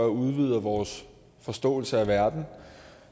udvider vores forståelse af verden